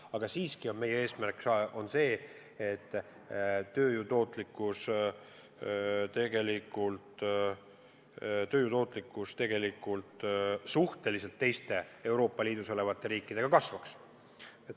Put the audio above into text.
Aga siiski on meie eesmärk see, et tööjõu tootlikkus võrreldes teiste Euroopa Liidu riikidega kasvaks.